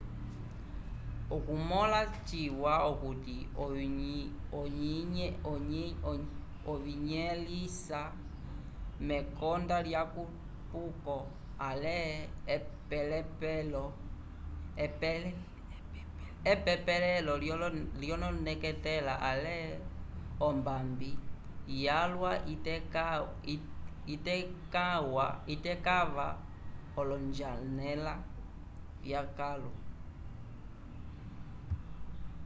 okumõla citava okuti oyinyẽlisa mekonda lyekupuko ale epepelelo lyoneketela ale ombambi yalwa itekãva olonjanela vyakãlu